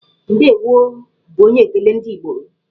Ndeewo'' bu onye ekele ndị Igbo.